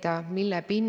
Miks see teema oluline on?